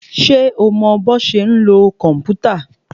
Ṣé o mọ bọ́ ṣe ń lo kòmpútà?